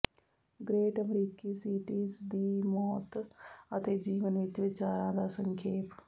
great ਅਮਰੀਕੀ cities ਦੀ ਮੌਤ ਅਤੇ ਜੀਵਨ ਵਿੱਚ ਵਿਚਾਰਾਂ ਦਾ ਸੰਖੇਪ